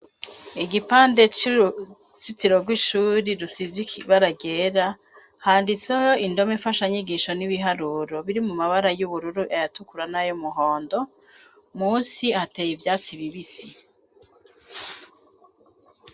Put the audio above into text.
Igipande c'urusitiro rw'ishuri rusiziki baragera handitseho indome imfasha nyigisho n'ibiharuro biri mu mabara y'ubururu ayatukura n'ayo muhondo musi ateye ivyatsi bibisi.